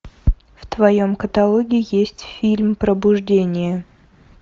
в твоем каталоге есть фильм пробуждение